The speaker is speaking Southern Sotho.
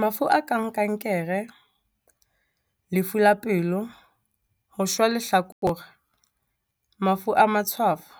Mafu a kang kankere, lefu la pelo, ho shwa lehlakore, mafu a matshwafo,